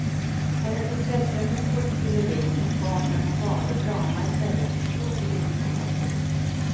Hennes intresse för skådespeleri tog fart när hon valde drama istället för språk i grundskolan.